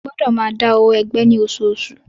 Ẹ gbọ́dọ̀ máa dá owó ẹgbẹ́ ní oṣooṣù.